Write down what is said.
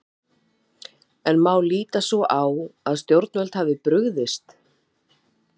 En má líta svo á að stjórnvöld hafi brugðist?